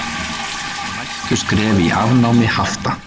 Næstu skref í afnámi hafta